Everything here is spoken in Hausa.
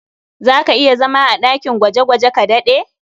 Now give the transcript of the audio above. Za ka iya zama a ɗakin gwaje-gwaje ka daɗe?